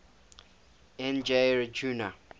n g rjuna